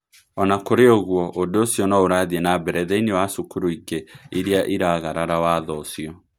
O na kũrĩ ũguo, ũndũ ũcio no ũrathiĩ na mbere thĩinĩ wa cukuru ingĩ iria iragarara watho ũcio.